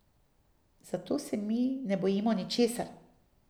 Zato se mi ne bojimo ničesar.